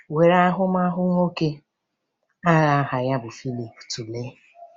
Were ahụmahụ nwoke agha aha ya bụ Phillip tụlee.